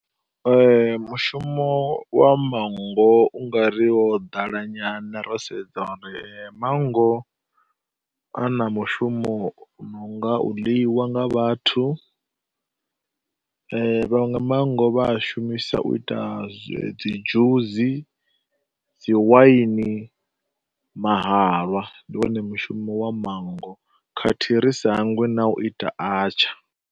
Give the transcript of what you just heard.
mushumo wa manngo u nga ri wo ḓala nyana ro sedza uri manngo a na mushumo u no nga u ḽiwa nga vhathu, vhanwe manngo vha a shumisa u ita dzi dzhusi, dzi waini, mahalwa. Ndi wone mushumo wa manngo khathihi ri sa hangwi na u ita atsha.